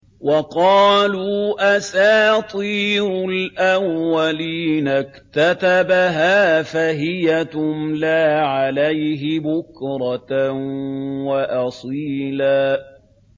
وَقَالُوا أَسَاطِيرُ الْأَوَّلِينَ اكْتَتَبَهَا فَهِيَ تُمْلَىٰ عَلَيْهِ بُكْرَةً وَأَصِيلًا